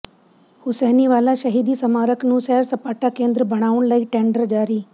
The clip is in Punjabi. ਹੁਸੈਨੀਵਾਲਾ ਸ਼ਹੀਦੀ ਸਮਾਰਕ ਨੂੰ ਸੈਰ ਸਪਾਟਾ ਕੇਂਦਰ ਬਣਾਉਣ ਲਈ ਟੈਂਡਰ ਜਾਰੀ